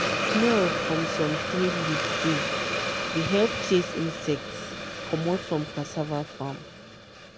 "smell from some tree leaf dey dey help chase insects comot from cassava farm